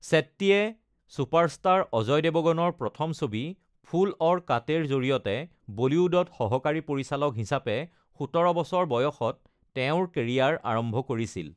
শেট্টীয়ে superstar Ajay দেৱগণৰ প্ৰথম ছবি ‘ফুল ঔৰ কাঁটে’ৰ জৰিয়তে বলীউডত সহকাৰী পৰিচালক হিচাপে ১৭ বছৰ বয়সত তেওঁৰ কেৰিয়াৰ আৰম্ভ কৰিছিল।